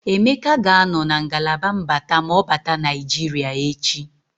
Emeka ga-anọ na ngalaba mbata ma ọ bata Naịjiria echi.